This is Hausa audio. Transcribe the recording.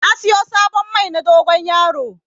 Na siyo sabon Mai na dogon yaro